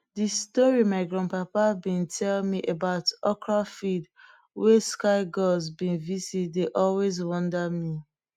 de story my grandpa been tell me about okra fields wey sky gods been visit dey always wonder me